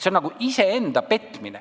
See on nagu iseenda petmine.